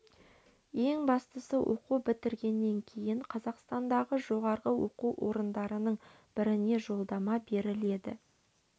ең бастысы оқу бітіргеннен кейін қазақстандағы жоғары оқу орындарының біріне жолдама беріледі